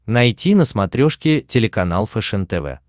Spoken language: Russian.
найти на смотрешке телеканал фэшен тв